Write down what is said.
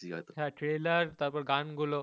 হ্যাঁ trailer তারপরে জ্ঞান গুলো ওগুলো